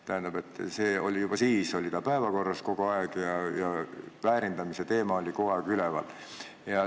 Tähendab, see oli juba siis päevakorral ja väärindamise teema oli üleval.